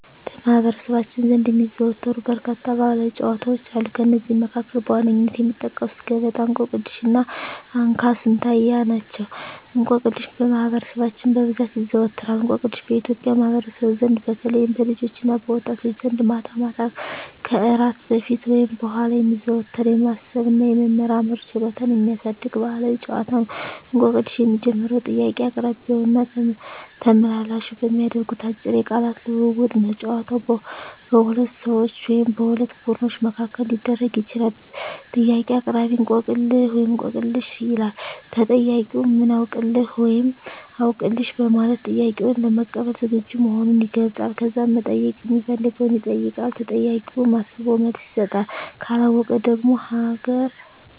በማኅበረሰባችን ዘንድ የሚዘወተሩ በርካታ ባሕላዊ ጨዋታዎች አሉ። ከእነዚህም መካከል በዋነኝነት የሚጠቀሱት ገበጣ፣ እንቆቅልሽ እና እንካ ስላንትያ ናቸው። እንቆቅልሽ በማህበረሰባችን በብዛት ይዘዎተራል። እንቆቅልሽ በኢትዮጵያ ማኅበረሰብ ዘንድ በተለይም በልጆችና በወጣቶች ዘንድ ማታ ማታ ከእራት በፊት ወይም በኋላ የሚዘወተር፣ የማሰብ እና የመመራመር ችሎታን የሚያሳድግ ባሕላዊ ጨዋታ ነው። እንቆቅልሽ የሚጀምረው ጥያቄ አቅራቢውና ተመልላሹ በሚያደርጉት አጭር የቃላት ልውውጥ ነው። ጨዋታው በሁለት ሰዎች ወይም በሁለት ቡድኖች መካከል ሊደረግ ይችላል። ጥያቄ አቅራቢ፦ "እንቆቅልህ/ሽ?" ይላል። ተጠያቂው፦ "ምን አውቅልህ?" (ወይም "አውቅልሽ") በማለት ጥያቄውን ለመቀበል ዝግጁ መሆኑን ይገልጻል። ከዛም መጠየቅ ሚፈልገውን ይጠይቃል። ተጠያቂውም አስቦ መልስ ይሰጣል። ካለወቀው ደግሞ ሀገ